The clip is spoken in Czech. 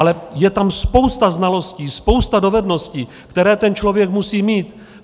Ale je tam spousta znalostí, spousta dovedností, které ten člověk musí mít.